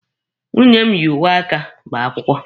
Nwunye m yi uwe aka gbaa akwụkwọ.